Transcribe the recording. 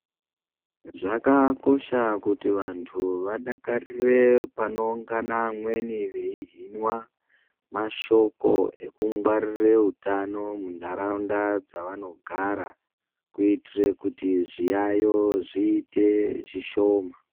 Zvakakosha kuti vantu vadakarire panoungana vamweni veihinwa mashoko ekungwarire utano muntaraunda dzavanogara kuitire kuti zviyaiyo zviite zvishoma.